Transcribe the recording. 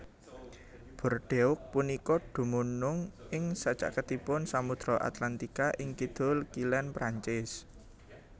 Bordeaux punika dumunung ing sacaketipun Samudra Atlantika ing kidul kilèn Prancis